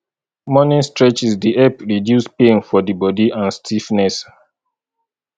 morning stretches dey help reduce pain for di bodi and stiffness